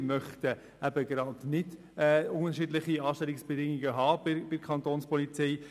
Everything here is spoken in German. Wir möchten keine unterschiedlichen Anstellungsbedingungen bei der Kapo.